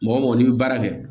Mɔgɔ mɔgɔ n'i bɛ baara kɛ